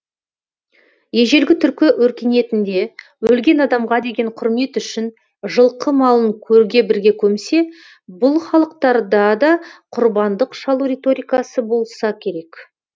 ежелгі түркі өркениетінде өлген адамға деген құрмет үшін жылқы малын көрге бірге көмсе бұл халықтарда да құрбандық шалу риторикасы болса керек